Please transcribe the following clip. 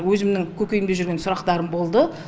өзімнің көкейімде жүрген сұрақтарым болды